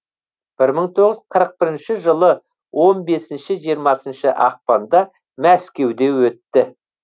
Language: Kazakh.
бір мың тоғыз жүз қырық бірінші жылы он бесінші жиырмасыншы ақпанда мәскеуде өтті